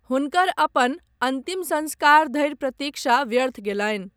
हुनकर अपन अन्तिम संस्कार धरि प्रतीक्षा व्यर्थ गेलनि।